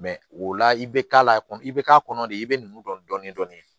o la i bɛ k'a la i bɛ k'a kɔnɔ de i bɛ nugu dɔn dɔɔnin-dɔɔnin